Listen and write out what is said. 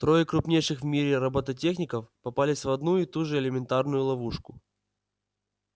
трое крупнейших в мире роботехников попались в одну и ту же элементарную ловушку